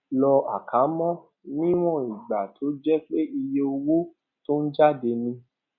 lo àkámọ níwòn ìgbà tó jẹ pé iye owó tó ń jáde ni